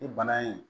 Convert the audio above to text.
Ni bana in